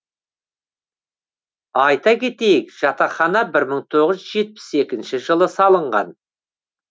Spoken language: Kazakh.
айта кетейік жатақхана бір мың тоғыз жүз жетпіс екінші жылы салынған